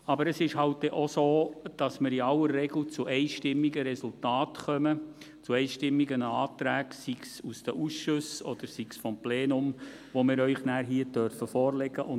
In aller Regel ist es aber so, dass wir zu einstimmigen Resultaten und zu einstimmigen Anträgen kommen, sei es aus den Ausschüssen, sei es aus dem Plenum, die wir Ihnen hier vorlegen dürfen.